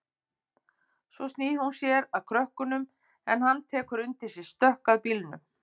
Svo snýr hún sér að krökkunum en hann tekur undir sig stökk að bílnum.